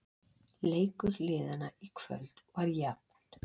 Leikur liðanna í kvöld var jafn